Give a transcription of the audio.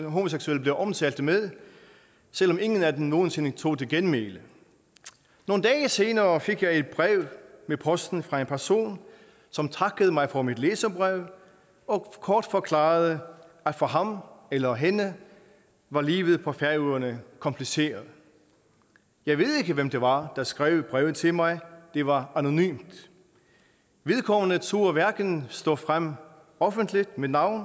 homoseksuelle blev omtalt med selv om ingen af dem nogen sinde tog til genmæle nogle dage senere fik jeg et brev med posten fra en person som takkede mig for mit læserbrev og kort forklarede at for ham eller hende var livet på færøerne kompliceret jeg ved ikke hvem det var der skrev brevet til mig det var anonymt vedkommende turde hverken stå frem offentligt med navn